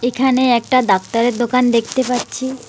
এখানে একটা ডাক্তারের দোকান দেখতে পাচ্ছি।